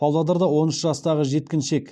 павлодарда он үш жастағы жеткіншек